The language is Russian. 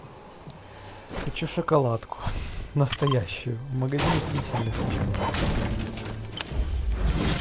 хочу шоколадку настоящую в магазин идти не сильно хочу